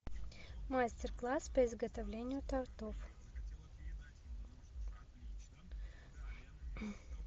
мастер класс по изготовлению тортов